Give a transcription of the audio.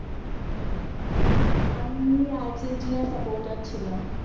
আমি Argentina support ছিলাম